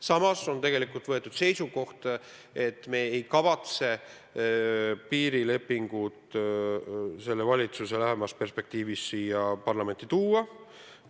Samas on võetud seisukoht, et me ei kavatse piirilepingut selle valitsuse ajal siia parlamenti tuua.